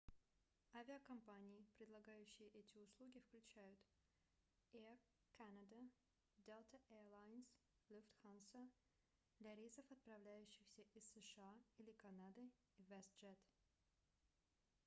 авиакомпании предлагающие эти услуги включают air canada delta air lines lufthansa для рейсов отправляющихся из сша или канады и westjet